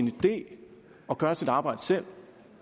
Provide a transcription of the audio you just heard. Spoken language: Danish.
idé at gøre sit arbejde selv